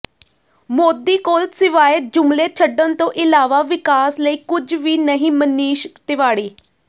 ਮੋਦੀ ਕੋਲ ਸਿਵਾਏ ਜੁਮਲੇ ਛੱਡਣ ਤੋਂ ਇਲਾਵਾ ਵਿਕਾਸ ਲਈ ਕੁਝ ਵੀ ਨਹੀਂ ਮਨੀਸ਼ ਤਿਵਾੜੀ